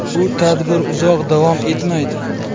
Bu tadbir uzoq davom etmaydi.